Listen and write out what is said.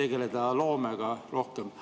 tegeleda rohkem loomega.